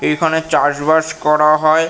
এখানে চাষবাস করা হয়।